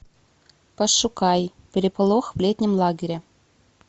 пошукай переполох в летнем лагере